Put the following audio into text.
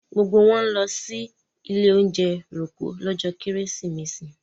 Gbogbo wọn ń lọ sí ilé-oúnjẹ Rococo lọ́jọ́ Kérésìmesì.